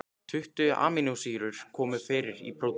Tuttugu amínósýrur koma fyrir í prótínum.